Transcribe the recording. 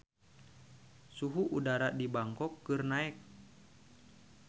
Suhu udara di Bangkok keur naek